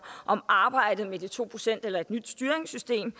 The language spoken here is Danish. om arbejdet med de to procent eller et nyt styringssystem